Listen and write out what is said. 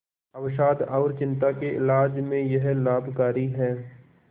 अवसाद और चिंता के इलाज में यह लाभकारी है